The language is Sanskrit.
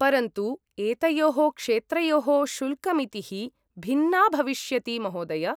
परन्तु एतयोः क्षेत्रयोः शुल्कमितिः भिन्ना भविष्यति महोदय!